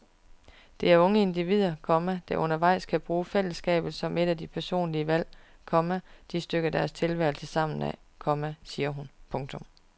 Det er unge individualister, komma der undervejs kan bruge fællesskabet som et af de personlige valg, komma de stykker deres tilværelse sammen af, komma siger hun. punktum